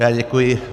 Já děkuji.